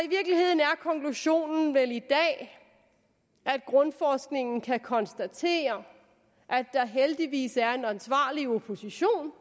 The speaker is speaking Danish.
konklusionen vel i dag at grundforskningen kan konstatere at der heldigvis er en ansvarlig opposition